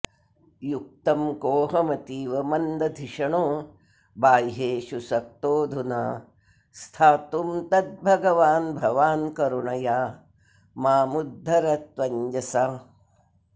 युक्तं कोऽहमतीव मन्दधिषणो बाह्येषु सक्तोऽधुना स्थातुं तद्भगवान्भवान्करुणया मामुद्धरत्वञ्जसा